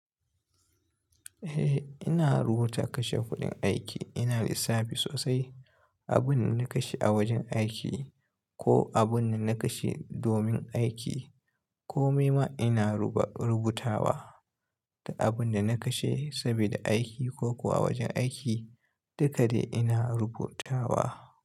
Eh ina rubuta kashe kuɗin aiki. Ina lissafi sosai abin da na kashe a wajen aiki ko abun da na kashe domin aiki. Komai ma ina rubuta wa da abun da na kashe sabida aiki ko kuwa wajen aiki dukada ina rubutawa.